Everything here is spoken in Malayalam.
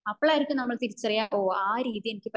അപ്പോഴായിരിക്കും നമ്മൾ തിരിച്ചറിയ ഓ അഹ് രീതി എനിക്ക് പറ്റില്ല